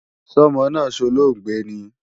Sọ́mọ náà solóògbé ni?